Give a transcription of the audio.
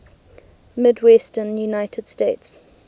midwestern united states